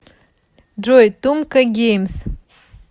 джой тумка геймс